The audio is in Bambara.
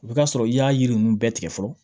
O bɛ k'a sɔrɔ i y'a yiri ninnu bɛɛ tigɛ fɔlɔ